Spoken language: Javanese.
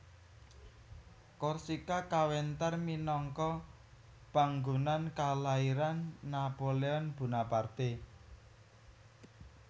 Korsika kawentar minangka panggonan kalairan Napoleon Bonaparte